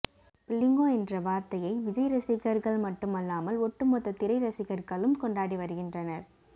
புள்ளிங்கோ என்ற வார்த்தையை விஜய் ரசிகர்கள் மட்டுமல்லாமல் ஒட்டுமொத்த திரை ரசிகர்களும் கொண்டாடி வருகின்றனர்